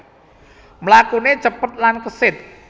Mlakuné cepet lan kesit